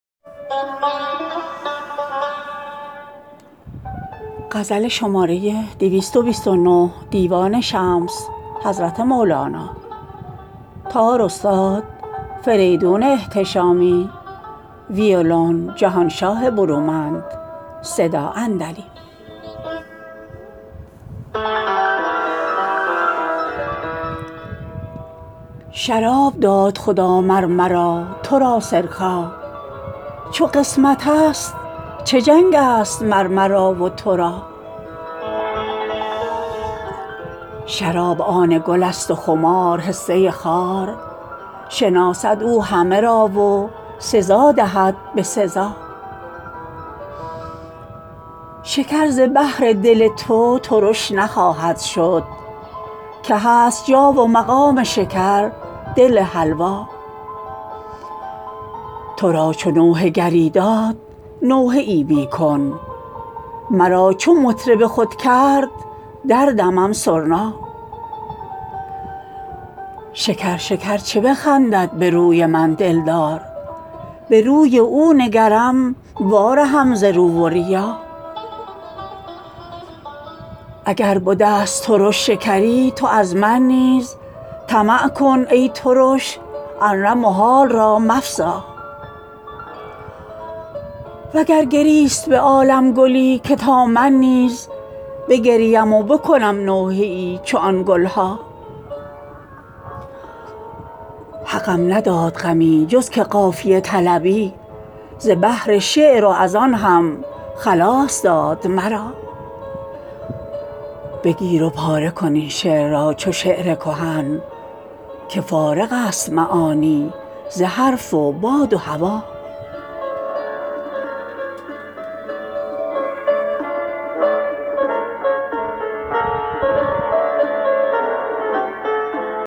شراب داد خدا مر مرا تو را سرکا چو قسمتست چه جنگست مر مرا و تو را شراب آن گل است و خمار حصه خار شناسد او همه را و سزا دهد به سزا شکر ز بهر دل تو ترش نخواهد شد که هست جا و مقام شکر دل حلوا تو را چو نوحه گری داد نوحه ای می کن مرا چو مطرب خود کرد دردمم سرنا شکر شکر چو بخندد به روی من دلدار به روی او نگرم وارهم ز رو و ریا اگر بدست ترش شکری تو از من نیز طمع کن ای ترش ار نه محال را مفزا وگر گریست به عالم گلی که تا من نیز بگریم و بکنم نوحه ای چو آن گل ها حقم نداد غمی جز که قافیه طلبی ز بهر شعر و از آن هم خلاص داد مرا بگیر و پاره کن این شعر را چو شعر کهن که فارغست معانی ز حرف و باد و هوا